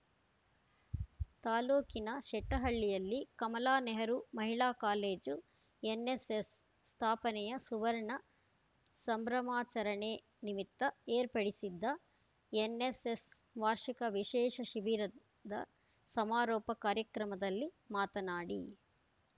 ತಾಲೂಕಿನ ಶೆಟ್ಟಹಳ್ಳಿಯಲ್ಲಿ ಕಮಲಾ ನೆಹರು ಮಹಿಳಾ ಕಾಲೇಜು ಎನ್‌ಎಸ್‌ಎಸ್‌ ಸ್ಥಾಪನೆಯ ಸುವರ್ಣ ಸಂಭ್ರಮಾಚರಣೆ ನಿಮಿತ್ತ ಏರ್ಪಡಿಸಿದ್ದ ಎನ್‌ಎಸ್‌ಎಸ್‌ ವಾರ್ಷಿಕ ವಿಶೇಷ ಶಿಬಿರದ ಸಮಾರೋಪ ಕಾರ್ಯಕ್ರಮದಲ್ಲಿ ಮಾತನಾಡಿ